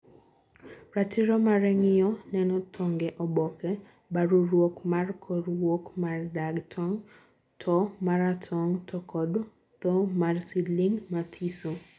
Ratiro mare ngiyo neno tong e oboke, baruruok mar korr wuok mar dag tong, two maratog to kod thoo mar seedling mathiso